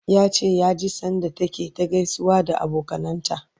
yace ya ji sanda take ta gaisawa da abokanan ta